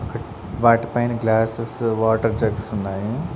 వాటిపైన glasses water jugs ఉన్నాయి.